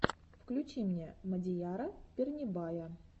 включи мне мадияра пернебая